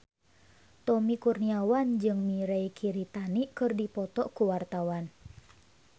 Tommy Kurniawan jeung Mirei Kiritani keur dipoto ku wartawan